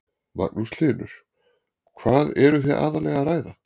Magnús Hlynur: Hvað eru þið aðallega að ræða?